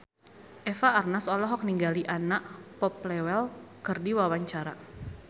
Eva Arnaz olohok ningali Anna Popplewell keur diwawancara